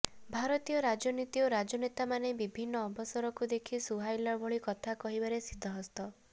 ଭାରତୀୟ ରାଜନୀତି ଓ ରାଜନେତାମାନେ ବିଭିନ୍ନ ଅବସରକୁ ଦେଖି ସୁହାଇଲାଭଳି କଥା କହିବାରେ ସିଦ୍ଧହସ୍ତ